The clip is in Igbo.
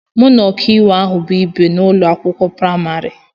Mụ na ọkàiwu ahụ bụ ìbè n'ụlọ akwụkwọ praịmarị